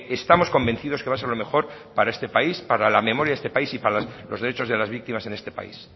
estamos convencidos que va a ser lo mejor para este país para la memoria de este país y para los derechos de las víctimas en este país